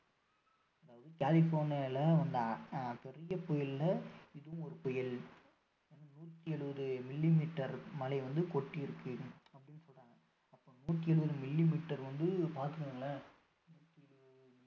அதாவது கலிபோர்னியால வந்த பெரிய புயல்ல இதுவும் ஒரு புயல் நூற்று இருபது millimeter மழை வந்து கொட்டி இருக்கு அப்படின்னு சொல்றாங்க அப்போ நூற்று இருவது millimeter வந்து பார்த்துகோங்களேன் நூற்று இருபது